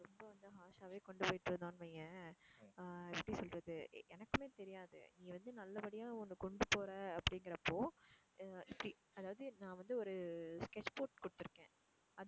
ரொம்ப வந்து harsh ஆவே கொண்டு போயிட்டு இருந்தோம்னு வையேன் எப்படி சொல்றது எனக்குமே தெரியாது நீ வந்து நல்ல படியா ஒண்ணு கொண்டு போற அப்படிங்கிறப்போ எர் see அதாவது நான் வந்து ஒரு sketch போட்டு கொடுத்து இருக்கேன்.